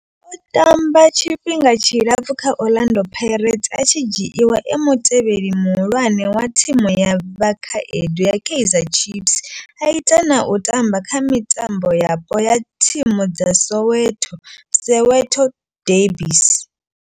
O tamba tshifhinga tshilapfhu kha Orlando Pirates, a tshi dzhiiwa e mutevheli muhulwane wa thimu ya vhakhaedu ya Kaizer Chiefs, a ita na u tamba kha mitambo yapo ya thimu dza Soweto Soweto derbies.